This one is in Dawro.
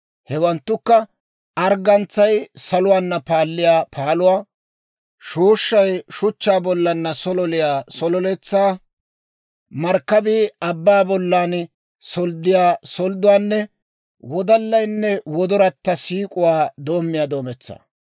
Hewanttukka: arggantsay saluwaana paalliyaa paaluwaa, shooshshay shuchchaa bollaanna sololiyaa sololetsaa, markkabii abbaa bollan solddiyaa soldduwaanne wodallaynne gellayatta siik'uwaa doommiyaa doometsaa.